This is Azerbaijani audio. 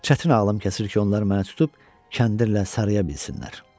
Çətin ağlım kəsir ki, onlar məni tutub kəndirlə saraya bilsinlər.